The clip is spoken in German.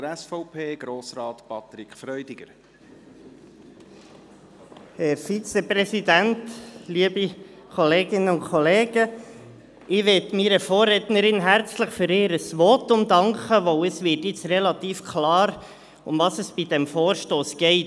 Ich möchte meiner Vorrednerin herzlich für ihr Votum danken, weil es nun relativ klar wird, worum es bei diesem Vorstoss geht.